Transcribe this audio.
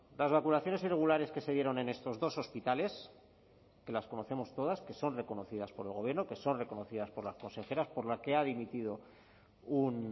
las vacunaciones irregulares que se dieron en estos dos hospitales que las conocemos todas que son reconocidas por el gobierno que son reconocidas por las consejeras por la que ha dimitido un